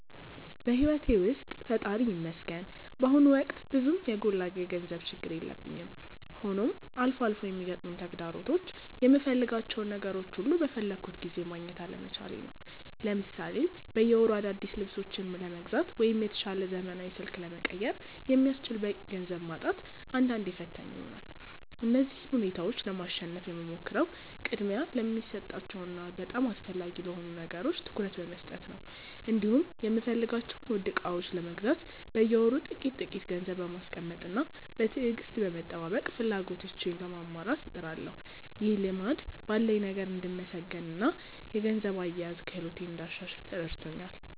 በሕይወቴ ውስጥ ፈጣሪ ይመስገን በአሁኑ ወቅት ብዙም የጎላ የገንዘብ ችግር የለብኝም፤ ሆኖም አልፎ አልፎ የሚገጥሙኝ ተግዳሮቶች የምፈልጋቸውን ነገሮች ሁሉ በፈለግኩት ጊዜ ማግኘት አለመቻሌ ነው። ለምሳሌ በየወሩ አዳዲስ ልብሶችን ለመግዛት ወይም የተሻለ ዘመናዊ ስልክ ለመቀየር የሚያስችል በቂ ገንዘብ ማጣት አንዳንዴ ፈታኝ ይሆናል። እነዚህን ሁኔታዎች ለማሸነፍ የምሞክረው ቅድሚያ ለሚሰጣቸው እና በጣም አስፈላጊ ለሆኑ ነገሮች ትኩረት በመስጠት ነው፤ እንዲሁም የምፈልጋቸውን ውድ ዕቃዎች ለመግዛት በየወሩ ጥቂት ጥቂት ገንዘብ በማስቀመጥና በትዕግስት በመጠባበቅ ፍላጎቶቼን ለማሟላት እጥራለሁ። ይህ ልማድ ባለኝ ነገር እንድመሰገንና የገንዘብ አያያዝ ክህሎቴን እንዳሻሽል ረድቶኛል።